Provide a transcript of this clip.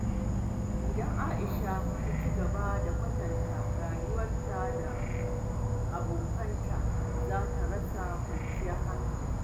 Idan Aisha ta ci gaba da kwatanta rayuwarta da ta abokanta, za ta rasa kwanciyar hankali.